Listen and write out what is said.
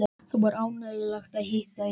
Það var ánægjulegt að hitta yður.